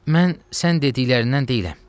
Mən sən dediklərindən deyiləm.